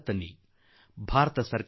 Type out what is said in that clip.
ಇದು ಯುವ ಪೀಳಿಗೆಗೆ ನಮ್ಮ ಆಹ್ವಾನ